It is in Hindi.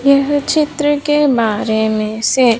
यह चित्र के बारे में से --